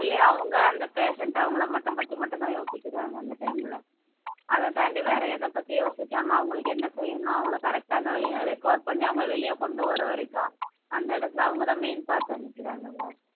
only அவங்க அந்த patient அவங்களை மட்டும் பத்தி மட்டும்தான் யோசிக்கிறாங்க அந்த time ல அதைத் தாண்டி வேற எதைப்பத்தியும் யோசிக்காம அவங்களுக்கு என்ன செய்யணும் அவங்களை correct ஆ அந்த recover பண்ணி அவங்களை வெளிய கொண்டு வர்ற வரைக்கும் அந்த இடத்துல அவங்கதான் main part அமைக்கிறாங்க இல்ல